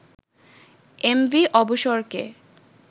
MV অবসরকে